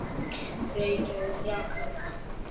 Reykjavík, Vaka.